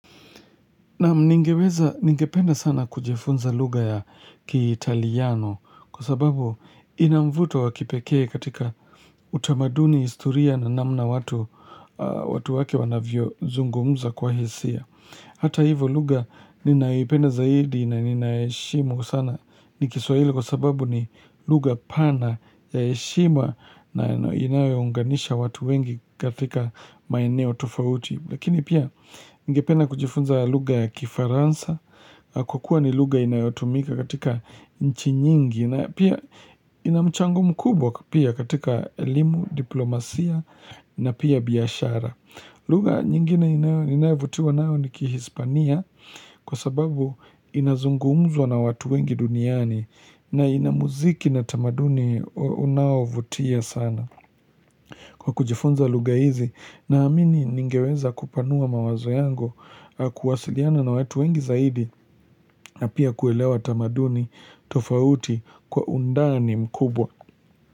Naam ningeweza, ningependa sana kujifunza lugha ya kiitaliano kwa sababu ina mvuto wa kipekee katika utamaduni historia na namna watu, watu wake wanavyozungumza kwa hisia. Hata hivyo lugha ninayoipenda zaidi na ninaheshimu sana ni kiswahili kwa sababu ni lugha pana ya heshima na inayounganisha watu wengi katika maeneo tofauti. Lakini pia ningependa kujifunza lugha ya kifaransa kwa kuwa ni lugha inayotumika katika nchi nyingi na pia ina mchango mkubwa pia katika elimu, diplomasia na pia biashara. Lugha nyingine ninayavutiwa nayo ni kihispania kwa sababu inazungumzwa na watu wengi duniani na ina muziki na tamaduni unaovutia sana. Kwa kujifunza lugha hizi naamini ningeweza kupanua mawazo yangu kuwasiliana na wetu wengi zaidi na pia kuelewa tamaduni tofauti kwa undani mkubwa.